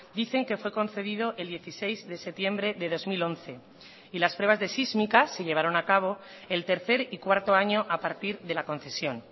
dicen que fue concedido el dieciséis de septiembre de dos mil once y las pruebas de sísmica se llevaron a cabo el tercer y cuarto año a partir de la concesión